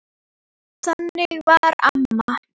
Þannig var amma.